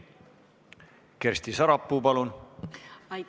Kersti Sarapuu, palun!